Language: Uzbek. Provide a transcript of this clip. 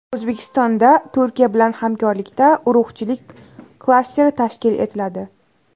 O‘zbekistonda Turkiya bilan hamkorlikda urug‘chilik klasteri tashkil etiladi.